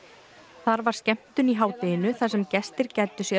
þar var skemmtun í hádeginu þar sem gestir gæddu sér á